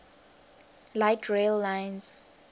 light rail lines